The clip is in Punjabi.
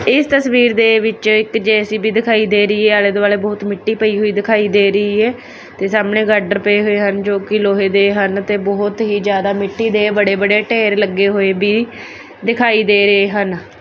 ਇਸ ਤਸਵੀਰ ਦੇ ਵਿੱਚ ਇੱਕ ਜੇ_ਸੀ_ਬੀ ਦਿਖਾਈ ਦੇ ਰਹੀ ਏ ਆਲੇ ਦੁਆਲੇ ਬਹੁਤ ਮਿੱਟੀ ਪਈ ਹੋਈ ਦਿਖਾਈ ਦੇ ਰਹੀ ਐ ਤੇ ਸਾਹਮਣੇ ਗਾਡਰ ਪਏ ਹੋਏ ਹਨ ਜੋ ਕਿ ਲੋਹੇ ਦੇ ਹਨ ਤੇ ਬਹੁਤ ਹੀ ਜ਼ਿਆਦਾ ਮਿੱਟੀ ਦੇ ਬੜੇ ਬੜੇ ਢੇਰ ਲੱਗੇ ਹੋਏ ਭੀ ਦਿਖਾਈ ਦੇ ਰਹੇ ਹਨ।